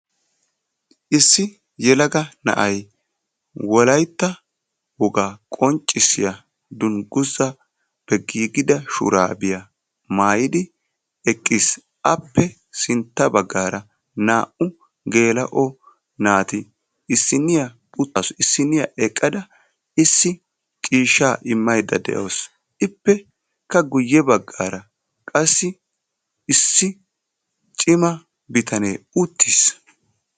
issi yelaga na'ay wolaytta wogaa qonccissiya dunguzaape giigida shuraabiya maayidi eqis. appe sintta bagaara naa'u geela'o naaati issiniya utaasu issiniya eqada issi ciishaa imaydda de; awusu. ippekka guye bagaara qassi issi cima bitanee utiis.